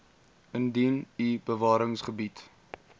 indien u bewaringsgebiede